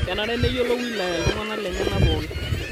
Kenare neyiolo wilaya ltung'ana lenyenak pookin